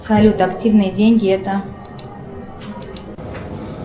салют активные деньги это